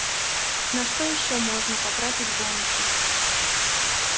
на что ещё можно потратить бонусы